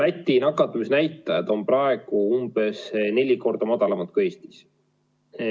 Läti nakatumisnäitajad on praegu umbes neli korda madalamad kui Eestis.